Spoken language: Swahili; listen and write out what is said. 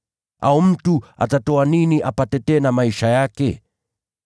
Au mtu atatoa nini badala ya nafsi yake?